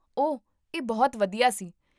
ਓਹ, ਇਹ ਬਹੁਤ ਵਧੀਆ ਸੀ